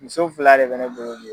Muso fila de bɛ ne bolo